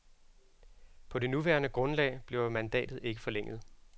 På det nuværende grundlag bliver mandatet ikke forlænget.